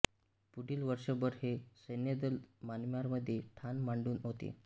पुढील वर्षभर हे सैन्यदल म्यानमारमध्ये ठाण मांडून होते